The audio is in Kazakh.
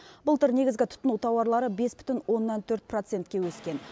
былтыр негізгі тұтыну тауарлары бес бүтін оннан төрт процентке өскен